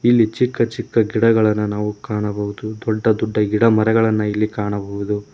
ಇಲ್ಲಿ ಚಿಕ್ಕ ಚಿಕ್ಕ ಗಿಡಗಳನ್ನು ನಾವು ಕಾಣಬಹುದು ದೊಡ್ಡ ದೊಡ್ಡ ಗಿಡಮರಗಳನ್ನು ಇಲ್ಲಿ ಕಾಣಬಹುದು.